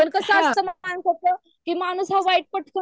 हां